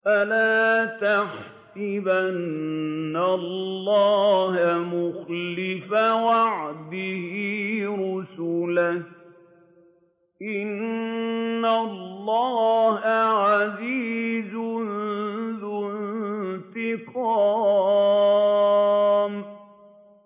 فَلَا تَحْسَبَنَّ اللَّهَ مُخْلِفَ وَعْدِهِ رُسُلَهُ ۗ إِنَّ اللَّهَ عَزِيزٌ ذُو انتِقَامٍ